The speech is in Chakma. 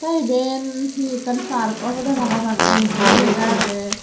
te iben hi ekkan park obode para pang entri lega agey.